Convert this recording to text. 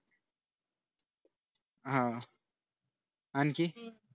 हा आणखी